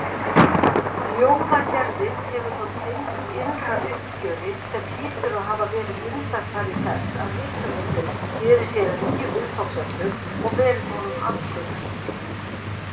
Ljóðagerðin hefur þá tengst innra uppgjöri, sem hlýtur að hafa verið undanfari þess að rithöfundurinn sneri sér að nýjum viðfangsefnum, og verið honum andleg hvíld.